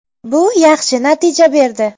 Bu yaxshi natija berdi.